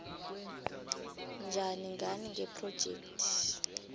njani ngani ngephrojekhthi